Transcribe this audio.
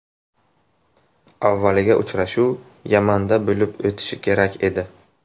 Avvaliga uchrashuv Yamanda bo‘lib o‘tishi kerak edi.